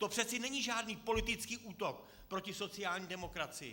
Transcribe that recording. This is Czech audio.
To přece není žádný politický útok proti sociální demokracii.